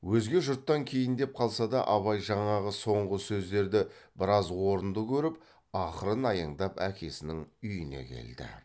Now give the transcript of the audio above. өзге жұрттан кейіндеп қалса да абай жаңағы соңғы сөздерді біраз орынды көріп ақырын аяңдап әкесінің үйіне келді